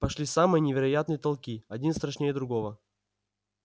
пошли самые невероятные толки один страшнее другого